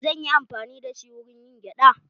Me zanyi amfani dashi wurin yin gyada?